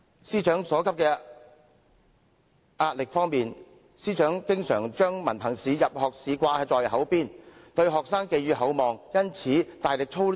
至於壓力方面，師長經常將文憑考試、入學試掛在口邊，對學生寄予厚望，因而大力操練試題。